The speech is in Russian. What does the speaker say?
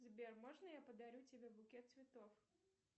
сбер можно я подарю тебе букет цветов